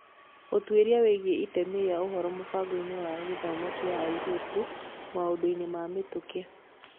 Ũtuĩria wĩgiĩ itemi rĩa ũhoro mũbango-inĩ wa gĩthomo kĩa airĩtu maũndũ-inĩ ma mĩtũkĩ